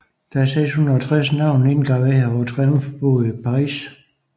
Der er 660 navne indgraveret på Triumfbuen i Paris